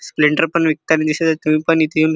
Splendor पण विकतानी दिसत आहे तुम्ही पण इथ येऊन --